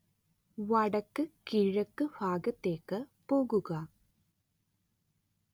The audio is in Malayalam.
വടക്കുകിഴക്ക് ഭാഗത്തേക്ക് പോവുക